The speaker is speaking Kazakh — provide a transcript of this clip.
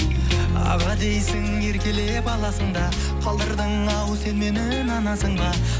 аға дейсің еркелеп аласың да қалдырдың ау сен мені нанасың ба